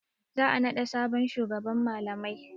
Za a naɗa sabon shugaban malamai.